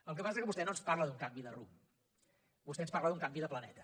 el que passa que vostè no ens parla d’un canvi de rumb vostè ens parla d’un canvi de planeta